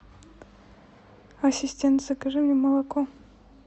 ассистент закажи мне молоко